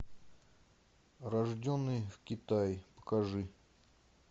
рожденный в китае покажи